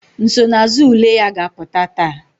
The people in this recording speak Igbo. Nsonaazụ ule ya ga-apụta taa